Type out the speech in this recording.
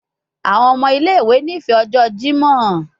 Awọn ọmọ ile-iwe nifẹ ọjọ Jimọ